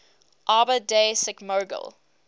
arbor day sikmogil